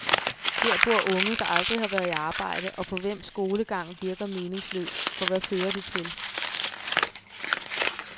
Her bor unge, der aldrig har været i arbejde og for hvem skolegang virker meningsløs, for hvad fører det til.